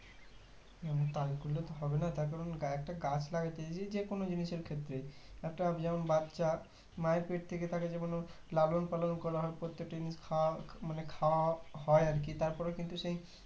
তা করলে তো হবে না তার কারণ একটা গাছ লাগাতে যে যেকোনো জিনিসের ক্ষেত্রে একটা যেমন বাচ্ছা মায়ের পেট থেকে তাকে যেমন ওর লালন পালন করা হয় প্রত্যেকটা জিনিস খাওয়া মানে খাওয়া হয় আর কি তার পরে কিন্তু সেই